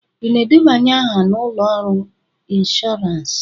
Ị na-edebanye aha na ụlọ ọrụ ịnshoransị?